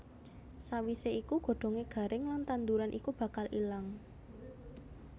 Sawisé iku godhongé garing lan tanduran iku bakal ilang